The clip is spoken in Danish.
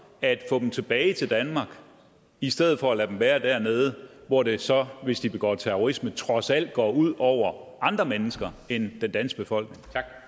at få dem tilbage til danmark i stedet for at lade dem være dernede hvor det så hvis de begår terrorisme trods alt går ud over andre mennesker end den danske befolkning